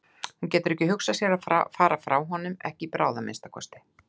Hún getur ekki hugsað sér að fara frá honum, ekki í bráð að minnsta kosti.